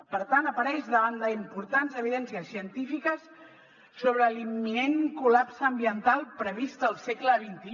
per tant apareix davant d’importants evidències científiques sobre l’imminent collapse ambiental previst al segle xxi